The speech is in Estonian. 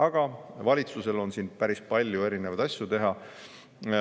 Aga valitsusel on siin päris palju erinevaid asju teha.